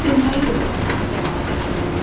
Sevməyi də öyrət əsgər balama.